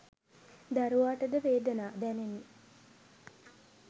දරුවාට ද වේදනා දැනේ.